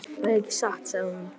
Það er ekki satt, sagði hún.